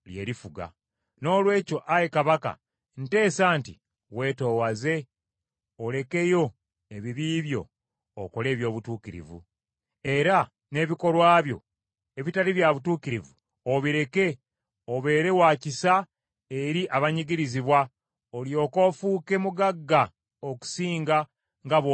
Noolwekyo, ayi kabaka nteesa nti; weetoowaze olekeyo ebibi byo okole eby’obutuukirivu, era n’ebikolwa byo ebitali bya butuukirivu obireke obeere wa kisa eri abanyigirizibwa, olyoke ofuuke mugagga okusinga nga bw’oli kaakano.”